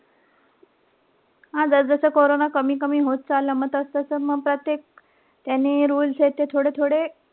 हा जसजसं कोरोना कमी-कमी होत चालला. मग तसतसं मग प्रत्येक याने rules ते थोडे-थोडे,